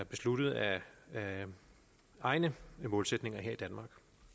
besluttet af egne målsætninger her i danmark